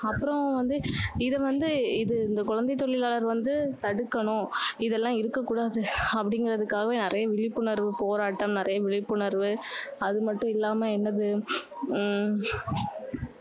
அப்புறம் வந்து இது வந்து இது இந்த குழந்தை தொழிலாளர் வந்து தடுக்கணும், இதெல்லாம் இருக்கக் கூடாது, அப்படிங்குறதுக்காகவே நிறைய விழிப்புணர்வு போராட்டம், நிறைய விழிப்புணர்வு, அது மட்டும் இல்லாம என்னது? ஹம்